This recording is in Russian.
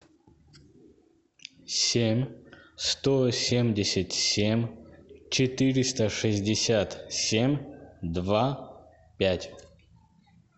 семь сто семьдесят семь четыреста шестьдесят семь два пять